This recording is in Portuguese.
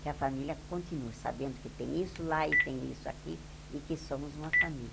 Que a família continue sabendo que tem isso lá e tem isso aqui e que somos uma família.